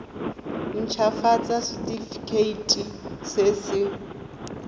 nt hafatsa setefikeiti se se